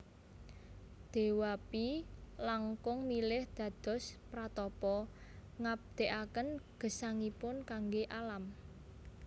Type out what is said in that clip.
Dewapi langkung milih dados pratapa ngabdekaken gesangiipun kangge alam